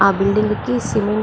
ఆ బిల్డింగ్ కి సిమెంట్ --